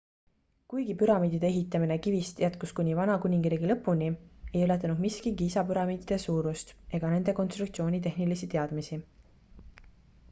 kuigi püramiidide ehitamine kivist jätkus kuni vana kuningriigi lõpuni ei ületanud miski giza püramiidide suurust ega nende konstruktsiooni tehnilisi teadmisi